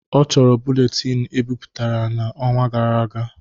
Ọ chọrọ buletin ebiputara na ọnwa gara aga